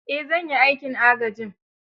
Eh, zan yi aikin agajin.